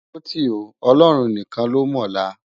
Óti ó, Òlòrún nikán ló mòlá